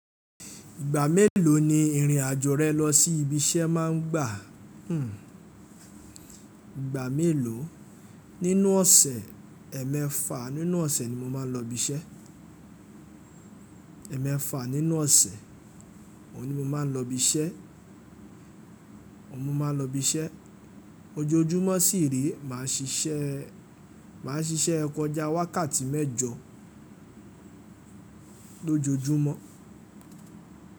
Ìgbà mélòó ni ìrìn àjò rẹ lọ sí ibi iṣẹ́ má ń gbà? Ìgbà mélòó? Nínú ọ̀sẹ̀, ẹẹ́mefà nínú ọ̀sẹ̀ ni mo máa ń lọ ibi iṣẹ́. Ẹẹ́mefà nínú ọ̀sẹ̀, òun ni mo máa ń lọ ibi iṣẹ́, ọ̀un mo máa ń lọ ibi iṣẹ́. Ojoojúmọ́ sì re, mà á ṣiṣẹ́, mà á ṣiṣẹ́ kọ̀já wákàtí mẹ́jọ lójoojúmọ́.